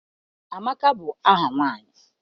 Amaka bụ aha nwaanyị